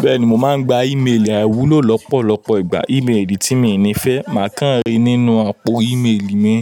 Bẹ́ẹ̀ni mò máa ń gba ímélì àìwúlò lọ́pọ̀lọ́pọ̀ ìgbà. Ìmélì tí mi n ní fẹ́ máà kàn rí nínú àpò ímélì mi.